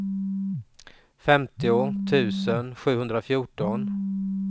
femtio tusen sjuhundrafjorton